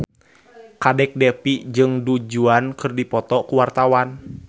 Kadek Devi jeung Du Juan keur dipoto ku wartawan